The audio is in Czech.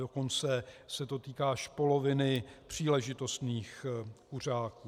Dokonce se to týká až poloviny příležitostných kuřáků.